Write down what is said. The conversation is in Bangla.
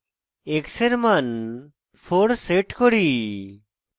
x we মান 4 set করি